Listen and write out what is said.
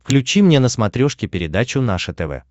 включи мне на смотрешке передачу наше тв